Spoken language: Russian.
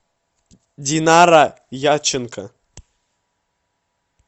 динара яченко